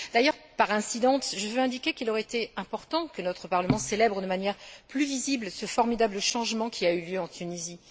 D'ailleurs, par incidence, je veux indiquer qu'il aurait été important que notre Parlement célèbre de manière plus visible ce formidable changement qui a eu lieu en Tunisie.